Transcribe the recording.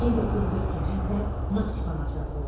1942-ci ildə Naxçıvana çağırıldı.